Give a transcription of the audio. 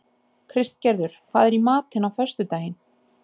Kristgerður, hvað er í matinn á föstudaginn?